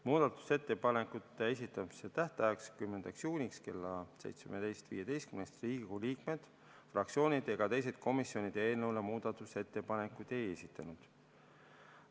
Muudatusettepanekute esitamise tähtajaks, 10. juuniks kella 17.15-ks Riigikogu liikmed, fraktsioonid ega teised komisjonid eelnõu kohta muudatusettepanekuid ei esitanud.